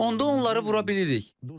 Onda onları vura bilirik.